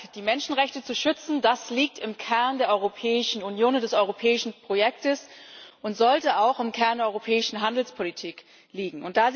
Die Menschenrechte zu schützen, das liegt im Kern der Europäischen Union und des europäischen Projektes und sollte auch im Kern der europäischen Handelspolitik liegen.